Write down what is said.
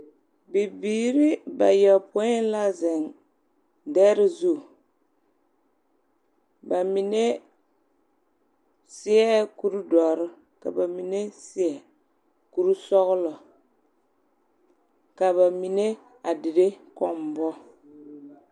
Bibiiri bayopoi la zeŋ dԑre zu. Ba mine seԑŋ kuri dͻre ka ba mine seԑ kuri sͻgelͻ, ka ba mine a dire kͻmmbͻ.